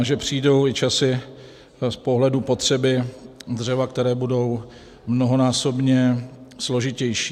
A že přijdou i časy z pohledu potřeby dřeva, které budou mnohonásobně složitější.